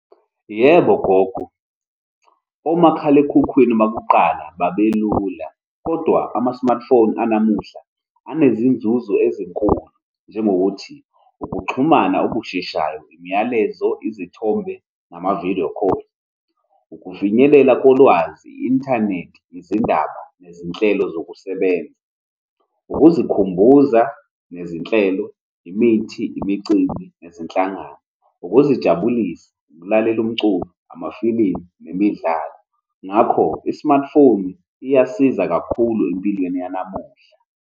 Yebo gogo, omakhalekhukhwini bakuqala babelula, kodwa ama-smartphone anamuhla anezinzuzo ezinkulu. Njengokuthi, ukuxhumana okusheshayo, imiyalezo, izithombe, nama-video call, ukufinyelela kolwazi, i-inthanethi, izindaba, nezinhlelo zokusebenza, ukuzikhumbuza nezinhlelo, imithi, imicimbi nezinhlangano, ukuzijabulisa, ukulalela umculo, amafilimu nemidlalo. Ngakho, i-smartphone iyasiza kakhulu empilweni yanamuhla.